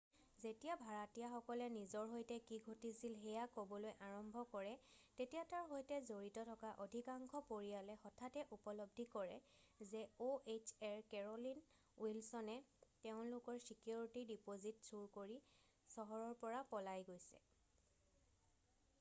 যেতিয়া ভাড়াতীয়াসকলে নিজৰ সৈতে কি ঘটিছিল সেয়া ক'বলৈ আৰম্ভ কৰে তেতিয়া তাৰ সৈতে জড়িত থকা অধিকাংশ পৰিয়ালে হঠাতে উপলব্ধি কৰে যে ohaৰ কেৰ'লিন উইলছনে তেওঁলোকৰ ছিকিউৰিটি ডিপ'জিট চুৰি কৰি চহৰৰ পৰা পলাই গৈছে।